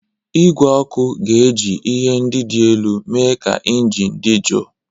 Igwe ọkụ ga-eji ihe ndị dị elu mee ka injin dị jụụ.